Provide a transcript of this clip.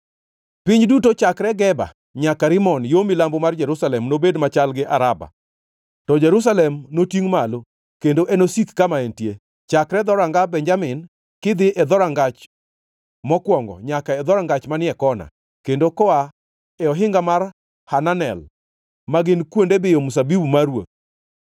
Piny duto, chakre Geba nyaka Rimon, yo milambo mar Jerusalem nobed machal gi Araba. To Jerusalem notingʼ malo, kendo enosik kama entie, chakre dhoranga Benjamin kidhi e Dhorangach Mokwongo nyaka e Dhorangach manie kona; kendo koa e ohinga mar Hananel ma gin kuonde biyo mzabibu mar ruoth.